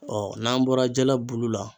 n'an bɔra jala bulu la